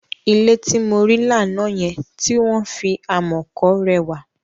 Ilé tí mo rí lánàá yẹn, tí wọ́n fi amọ̀ kọ rẹwà.